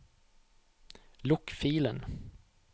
lukk filen